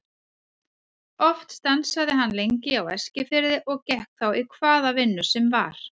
Oft stansaði hann lengi á Eskifirði og gekk þá í hvaða vinnu sem var.